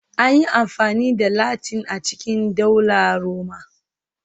An yi amfani da Latin a cikin Daular Roma